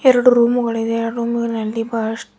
ಎರಡು ರೂಮ್ ಗಳಿವೆ ಆ ರೂಮ್ ಇನಲ್ಲಿ ಬಹಳಷ್ಟು--